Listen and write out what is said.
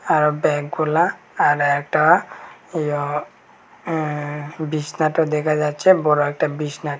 আর ব্যাগগুলা আর একটা ইয়া অ্যা বিসনাটা দেখা যাচ্ছে বড় একটা বিসনা --